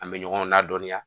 An bɛ ɲɔgɔn ladɔnniya